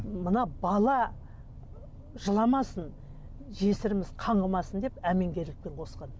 мына бала жыламасын жесіріміз қаңғымасын деп әмеңгерлікпен қосқан